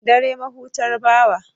Dare mahutar bawa.